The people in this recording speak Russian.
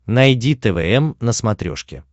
найди твм на смотрешке